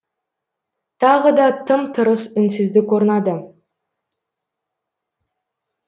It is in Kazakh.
тағы да тым тырыс үнсіздік орнады